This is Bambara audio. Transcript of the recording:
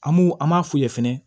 An m'u an m'a f'u ye fɛnɛ